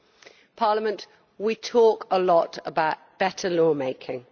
In Parliament we talk a lot about better lawmaking.